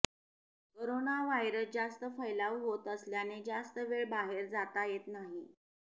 corona virus जास्त फैलाव होत असल्याने जास्त वेळ बाहेर जाता येत नाही